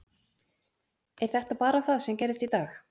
Er þetta bara það sem gerðist í dag?